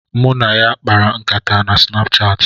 Mụ na ya kpara nkata na Sinapchaati